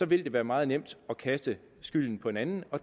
vil det være meget nemt at kaste skylden på en anden og